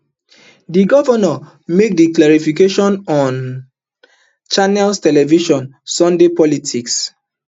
di govnor make di clarification on channels television sunday politics